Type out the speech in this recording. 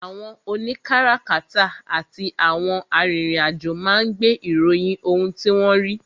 àwọn òní kárakáta àti àwọn arìnrìn-àjò máa ń gbé ìròyìn ohun tí wọ́n rí.